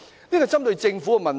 這是關乎政府的問題。